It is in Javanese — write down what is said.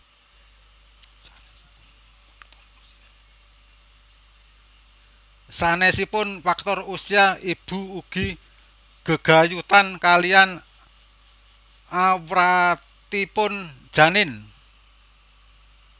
Sanésipun faktor usia ibu ugi gegayutan kaliyan awratipun janin